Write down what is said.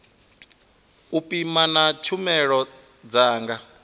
u pima na tshumelo dza